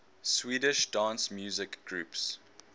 swedish dance music groups